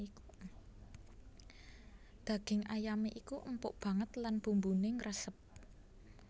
Daging ayamé iku empuk banget lan bumbuné ngresep